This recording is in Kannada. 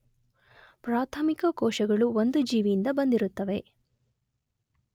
ಪ್ರಾಥಮಿಕ ಕೋಶಗಳು ಒಂದು ಜೀವಿಯಿಂದ ಬಂದಿರುತ್ತವೆ.